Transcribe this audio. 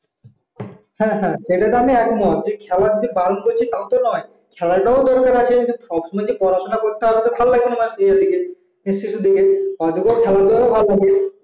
হ্যাঁ হ্যাঁ সেটা তো আমি একমত খেলার যে বারণ করছি তা তো নয় খেলাটা করতে থাকে সবসময় যে পড়াশোনা করতে হবে তা তো ভালো লাগবে না মাঝে ওদিকে অযথা খেলাধুলা ভাল্লাগে